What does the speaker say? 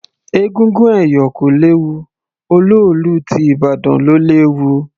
Egúngún ẹ̀yọ̀ kò léwu, olóòlù ti ìbàdàn ló léwu.